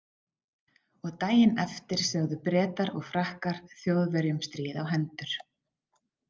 Og daginn eftir sögðu Bretar og Frakkar Þjóðverjum stríð á hendur.